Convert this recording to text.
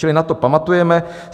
Čili na to pamatujeme.